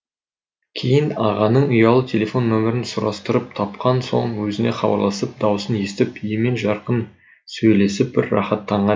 кейін ағаның ұялы телефон нөмерін сұрастырып тапқан соң өзіне хабарласып дауысын естіп емен жарқын сөйлесіп бір рахаттанған ем